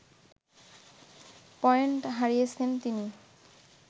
point হারিয়েছেন তিনি